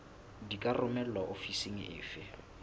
di ka romelwa ofising efe